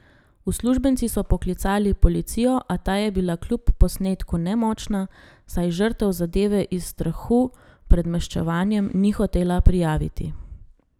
Uslužbenci so poklicali policijo, a ta je bila kljub posnetku nemočna, saj žrtev zadeve iz strahu pred maščevanjem ni hotela prijaviti.